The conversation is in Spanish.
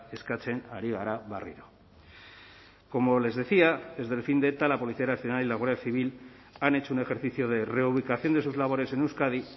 eskatzen ari gara berriro como les decía desde el fin de eta la policía nacional y la guardia civil han hecho un ejercicio de reubicación de sus labores en euskadi